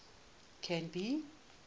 canby